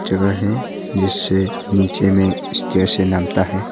जगह है जिससे नीचे में स्टेशन नामता है।